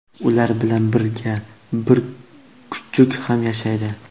Ular bilan birga bir kuchuk ham yashaydi.